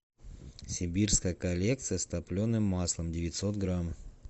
сибирская коллекция с топленым маслом девятьсот грамм